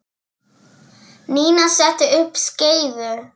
Nína setti upp skeifu.